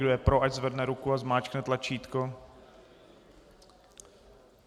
Kdo je pro, ať zvedne ruku a zmáčkne tlačítko.